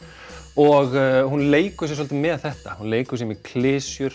og hún leikur sér svolítið með þetta hún leikur sér með klisjur